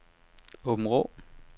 Aabenraa